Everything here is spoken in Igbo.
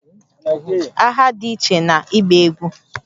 Agha dị iche na ịgba egwú